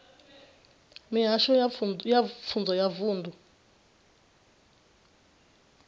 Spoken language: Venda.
mihasho ya pfunzo ya vunḓu